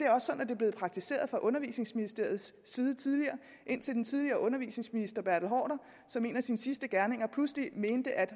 er blevet praktiseret fra undervisningsministeriets side tidligere indtil den tidligere undervisningsminister bertel haarder som en af sine sidste gerninger pludselig mente at